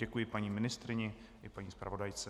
Děkuji paní ministryni i paní zpravodajce.